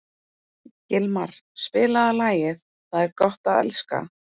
Gilmar, spilaðu lagið „Það er gott að elska“.